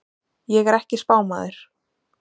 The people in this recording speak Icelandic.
Ég er ekki spámaður.